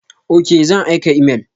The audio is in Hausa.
Ok, zan aika imel.